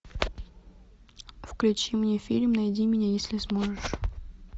включи мне фильм найди меня если сможешь